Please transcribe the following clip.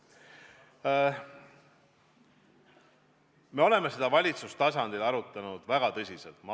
Me oleme seda valitsuse tasandil väga tõsiselt arutanud.